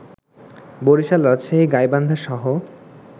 বরিশাল, রাজশাহী, গাইবান্ধা সহ